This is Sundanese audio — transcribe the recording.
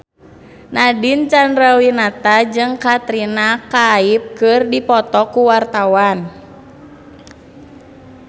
Nadine Chandrawinata jeung Katrina Kaif keur dipoto ku wartawan